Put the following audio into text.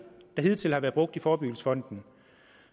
der hidtil har været brugt i forebyggelsesfonden